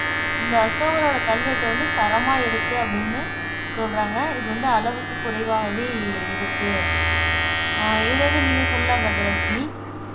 இந்த அசோகரோட கல்வெட்டு வந்து தரமா இருக்கு அப்படின்னு சொல்றாங்க இது வந்து அளவுக்கக் குறைவாகவே இருக்கு அஹ் இதுல இருந்து நீங்க சொல்லலாம் கஜலட்சுமி